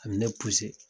A bɛ ne